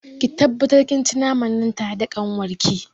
Ki tabbatar kin ci naman nan tare da kanwarki.